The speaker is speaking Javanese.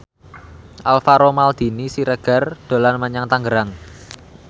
Alvaro Maldini Siregar dolan menyang Tangerang